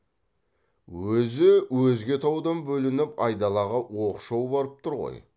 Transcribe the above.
өзі өзге таудан бөлініп айдалаға оқшау барып тұр ғой